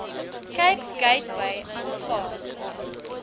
cape gateway aanvaar